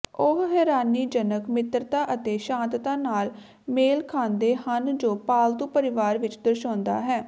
ਉਹ ਹੈਰਾਨੀਜਨਕ ਮਿੱਤਰਤਾ ਅਤੇ ਸ਼ਾਂਤਤਾ ਨਾਲ ਮੇਲ ਖਾਂਦੇ ਹਨ ਜੋ ਪਾਲਤੂ ਪਰਿਵਾਰ ਵਿੱਚ ਦਰਸਾਉਂਦਾ ਹੈ